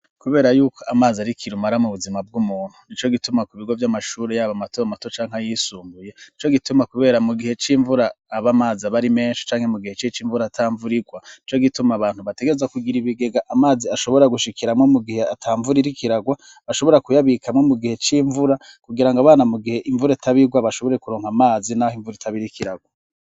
Kubera yuko amazi arikira umara mu buzima bw'umuntu ni co gituma ku bigo vy'amashure yabo amatoamato canke yisumbuye ni co gituma, kubera mu gihe c'imvura aba amazi abari menshi canke mu gihe c'ic'imvura atamvurirwa ni co gituma abantu bategeza kugira ibigega amazi ashobora gushikiramwo mu gihe atamvuririkiragwa ashobora kuyabikamwo mu gihe c'imvura kugira ngo abana mu gihee mvure tabirwa bashobore kuronka amazi, naho imvura itabirikiragwo.